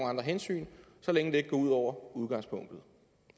andre hensyn så længe det ikke går ud over udgangspunktet